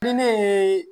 Ni ne ye